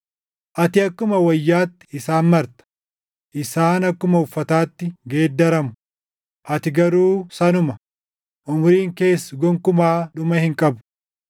ati akkuma wayyaatti isaan marta; isaan akkuma uffataatti geeddaramu; ati garuu sanuma; umuriin kees gonkumaa dhuma hin qabu.” + 1:12 \+xt Far 102:25‑27\+xt*